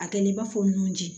A kɛlen i b'a fɔ nunji